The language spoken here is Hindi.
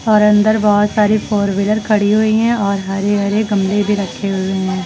और अंदर बहोत सारी फोरव्हीलर खड़ी हुई हैं और हरे हरे गमले भी रखे हुए हैं।